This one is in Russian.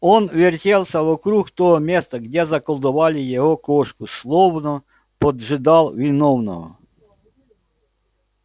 он вертелся вокруг того места где заколдовали его кошку словно поджидал виновного